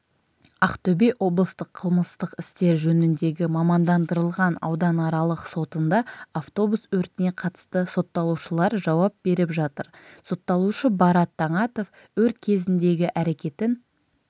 ақтөбе облыстық қылмыстық істер жөніндегі мамандандырылған ауданаралық сотында автобус өртіне қатысты сотталушылар жауап беріп жатыр сотталушы барат таңатов өрт кезіндегі әрекетін